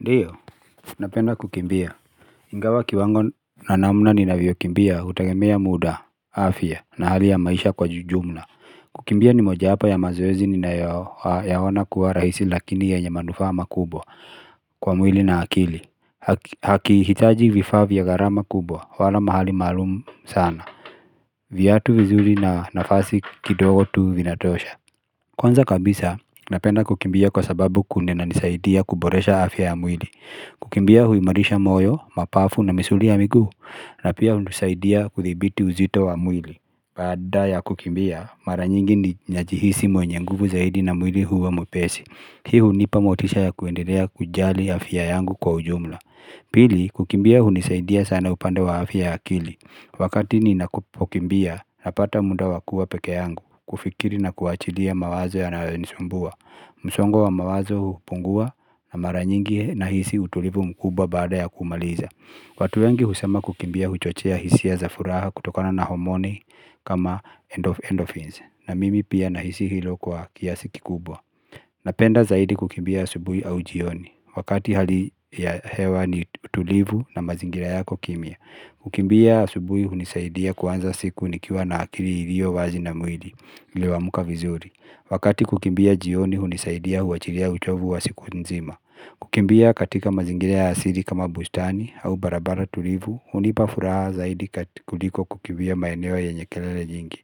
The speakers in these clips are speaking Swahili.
Ndiyo, napenda kukimbia. Ingawa kiwango na namna ninavyo kimbia utagemea muda, afya na hali ya maisha kwa jujumla. Kukimbia ni moja wapo ya mazoezi ninayo yaona kuwa rahisi lakini yenye manufaa makubwa kwa mwili na akili. Hakihitaji vifaa vya garama kubwa, wala mahali maalumu sana. Viatu vizuri na nafasi kidogo tu vinatosha. Kwanza kabisa, napenda kukimbia kwa sababu kuna nanisaidia kuboresha afya ya mwili. Kukimbia hui marisha moyo, mapafu na misuli ya miguu na pia hunusaidia kuthibiti uzito wa mwili baada ya kukimbia, mara nyingi ni najihisi mwenye nguvu zaidi na mwili huwa mwepesi Hi hunipa motisha ya kuendelea kujali afya yangu kwa ujumla Pili, kukimbia huni saidia sana upande wa afya ya akili Wakati ninapukimbia, napata muda wakua peke yangu kufikiri na kuachilia mawazo yanayo nisumbua msongo wa mawazo hupungua na maranyingi nahisi utulivu mkubwa baada ya kumaliza watu wengi husema kukimbia huchochea hisia zafuraha kutokana na homoni kama endorphins na mimi pia nahisi hilo kwa kiasi kikubwa Napenda zaidi kukimbia asubui au jioni Wakati hali ya hewa ni utulivu na mazingira yako kimya Kukimbia asubui hunisaidia kuanza siku nikiwa na akiri hiliyo wazi na mwili ilio amuka vizuri Wakati kukimbia jioni hunisaidia huachilia uchovu wa siku nzima Kukimbia katika mazingira ya asiri kama bustani au barabara tulivu hunipa furaha zaidi kutikuliko kukibia maeneo yenye kelele nyingi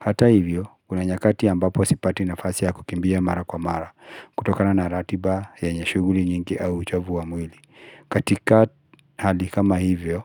Hata hivyo, kuna nyakati ambapo sipati nafasi ya kukimbia mara kwa mara kutokana na ratiba yenye shuguli nyingi au uchovu wa mwili katika hali kama hivyo,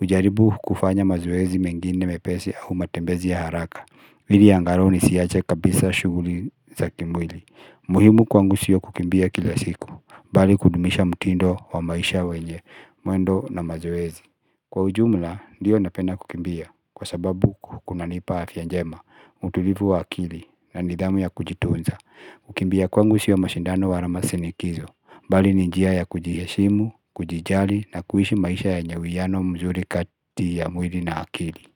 ujaribu kufanya mazoezi mengine mepesi au matembezi ya haraka Hili angarau ni siyache kabisa shuguli za kimwili. Muhimu kwangu siyo kukimbia kila siku, bali kudumisha mtindo wa maisha wenye, mwendo na mazoezi. Kwa ujumla, ndiyo napenda kukimbia, kwa sababu kukunanipa afya njema, utulivu wa akili na nidhamu ya kujitunza. Ukimbia kwangu siyo mashindano wara masinikizo, bali ni njia ya kujiheshimu, kujijali na kuhishi maisha yenye uwiano mzuri kati ya mwili na akili.